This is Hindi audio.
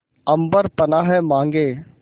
अम्बर पनाहे मांगे